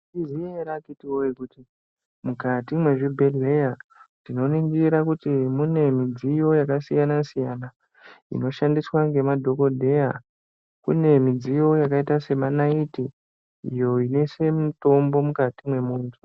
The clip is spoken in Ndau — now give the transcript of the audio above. Maizviziya ere akhitiwee kuti mukati mwezvibhedheya, tinoningira kuti mune midziyo yakasiyana -siyana, inoshandiswa ngemadhokodheya. Kune midziyo yakaita senaiti, iyo inoite inoise mitombo mukati mwemuntu.